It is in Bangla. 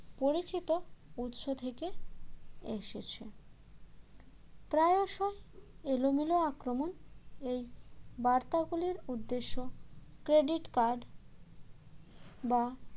পরিচিত উৎস থেকে এসেছে প্রায়শই এলোমেলো আক্রমণ এই বার্তাগুলির উদ্দেশ্য credit card বা